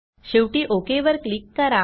शेवटी ओक वर क्लिक करा